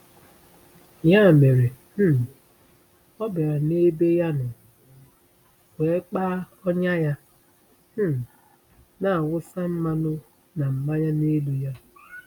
Ya mere um ọ bịara n’ebe ya nọ, wee kpa ọnya ya, um na-awụsa mmanụ na mmanya n’elu ya.